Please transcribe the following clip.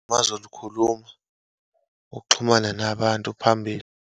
Bazolikhuluma, uxhumane nabantu phambili.